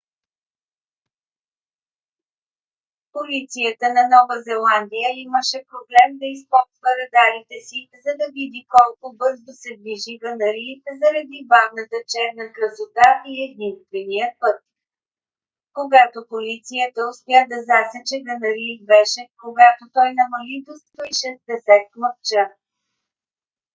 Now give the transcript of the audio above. полицията на нова зеландия имаше проблем да използва радарите си за да види колко бързо се движи г-н рийд заради бавната черна красота и единственият път когато полицията успя да засече г-н рийд беше когато той намали до 160 км/ч